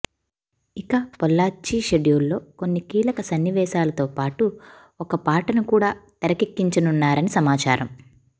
ఇక పొల్లాచ్చి షెడ్యూల్లో కొన్ని కీలక సన్నివేశాలతో పాటు ఒక పాటను కూడా తెరకెక్కించనున్నారని సమాచారం